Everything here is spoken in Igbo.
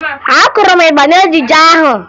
Akụrụ m ịgba n'ejijie ahụ